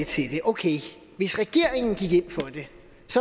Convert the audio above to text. til det okay hvis regeringen gik ind for det